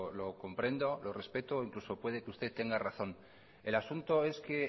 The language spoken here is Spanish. lo comprendo lo respeto e incluso puede que usted tenga razón el asunto es que